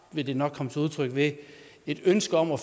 vil det nok komme til udtryk ved et ønske om at